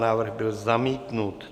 Návrh byl zamítnut.